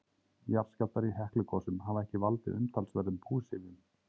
Jarðskjálftar í Heklugosum hafa ekki valdið umtalsverðum búsifjum.